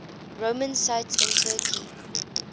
roman sites in turkey